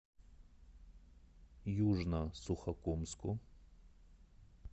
южно сухокумску